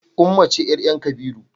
Ummah ce yayar kabiru